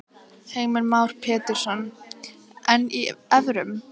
Heimir Már Pétursson: En í evrum?